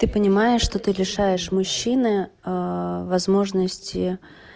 ты понимаешь что ты лишаешь мужчины возможности